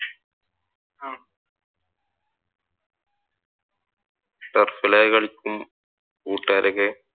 Turf ഇൽ ഒക്കെ കളിക്കും കൂട്ടുകാരൊക്കെ